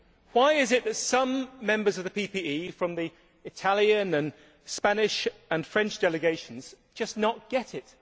Why is it that some members of the EPP, from the Italian, Spanish and French delegations, just do not get it?